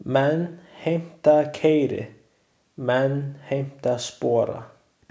Menn heimta keyri, menn heimta spora.